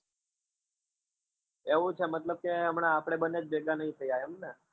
એવું છે મતલબ કે હમણાં આપડે બને જ ભેગા નથી થયા એમ ને?